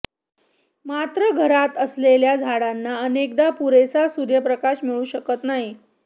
मात्र घरात असलेल्या झाडांना अनेकदा पुरेसा सुर्यप्रकाश मिळूशकत नाही